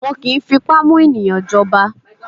Wọn kì í fipá mú ènìyàn jọba.